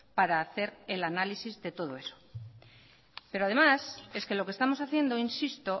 para hacer el análisis de todo eso pero además es que lo que estamos haciendo insisto